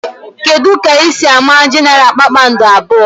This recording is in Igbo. Kedụ ka ị si ámá Genaral kpakpando abụọ?